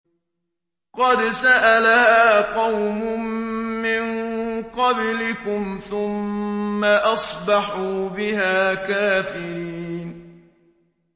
قَدْ سَأَلَهَا قَوْمٌ مِّن قَبْلِكُمْ ثُمَّ أَصْبَحُوا بِهَا كَافِرِينَ